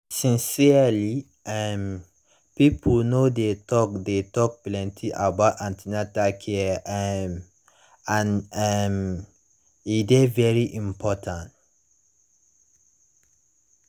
sincerely um pipo no dey talk dey talk plenty about an ten atal care um and um e dey very important